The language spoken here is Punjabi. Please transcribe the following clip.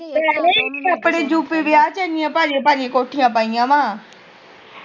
ਨੀ ਆਪਣੇ ਯੂਪੀ ਦੇ ਰਾਹ ਏਨੀਆਂ ਭਾਰੀਆਂ ਭਰੀਆਂ ਕੋਠੀਆਂ ਪਾਈਆਂ ਵਾ